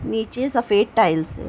नीचे सफ़ेद टाइल्स --